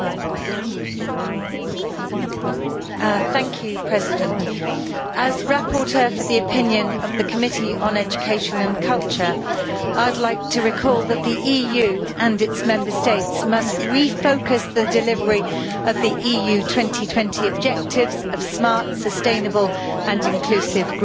Mr President, as rapporteur for the opinion of the Committee on Education and Culture I would like to recall that the EU and its Member States must refocus the delivery of the Europe 2020 objectives of smart, sustainable and inclusive growth, paying more attention